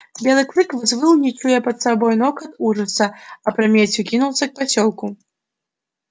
белый клык взвыл и не чуя под собой ног от ужаса опрометью кинулся к посёлку